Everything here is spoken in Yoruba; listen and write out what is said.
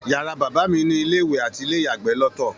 Yàrá bàbá mí ni ilé-ìwẹ̀ ati ilé-ìyàgbẹ lọtọ